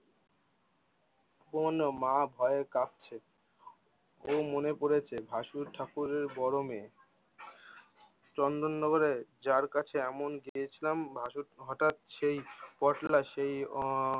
উপমান্য মা ভয়ে কাঁপছে। ও মনে পড়েছে ভাসুর ঠাকুরের বড় মে চন্দন নগরে যার কাছে এমন গিয়েছিলাম মাসুদ ভাটার সেই পটলা সেই অও